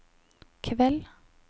kveld